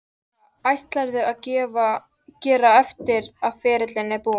Hvað ætlarðu að gera eftir að ferilinn er búinn?